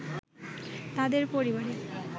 তাদের পরিবারে